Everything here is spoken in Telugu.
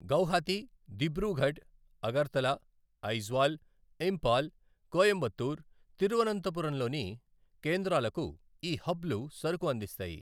గౌహతి, దిబ్రూఘడ్, అగర్తల, ఐజ్వాల్, ఇంపాల్, కోయంబత్తూర్, తిరువనంతపురంలలోని కేంద్రాలకు ఈ హబ్లు సరుకు అందిస్తాయి.